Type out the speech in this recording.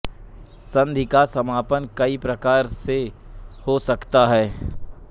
संधि का समापन कई प्रकार से हो सकता है